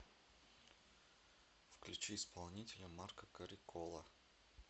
включи исполнителя марко карикола